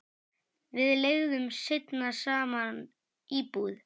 Við leigðum seinna saman íbúð.